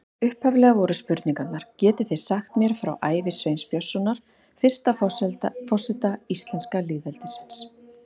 Upphaflega voru spurningarnar: Getið þið sagt mér frá ævi Sveins Björnssonar, fyrsta forseta íslenska lýðveldisins?